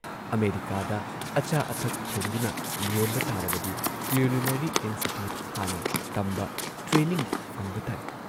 ꯑꯃꯦꯔꯤꯀꯥꯗ ꯑꯆꯥ ꯑꯊꯛ ꯊꯣꯡꯗꯨꯅ ꯌꯣꯟꯕ ꯇꯥꯔꯕꯗꯤ ꯀꯤꯎꯂꯤꯅꯔꯤ ꯏꯟꯁꯇꯤꯇ꯭ꯌꯨꯠ ꯍꯥꯟꯅ ꯇꯝꯕ, ꯇ꯭ꯔꯦꯅꯤꯡ ꯐꯪꯕ ꯇꯥꯏ ꯫